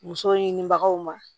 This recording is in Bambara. Muso ɲinibagaw ma